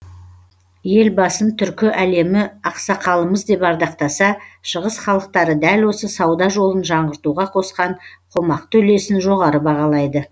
елбасын түркі әлемі ақсақалымыз деп ардақтаса шығыс халықтары дәл осы сауда жолын жаңғыртуға қосқан қомақты үлесін жоғары бағалайды